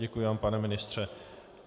Děkuji vám, pane ministře.